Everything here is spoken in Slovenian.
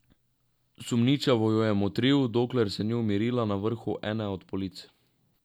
Sumničavo jo je motril, dokler se ni umirila na vrhu ene od polic.